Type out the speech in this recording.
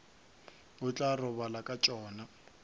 o tla robala ka tšona